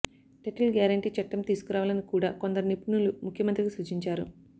title guarantee చట్టం తీసుకురావాలని కూడా కొందరు నిపుణులు ముఖ్యమంత్రికి సూచించారు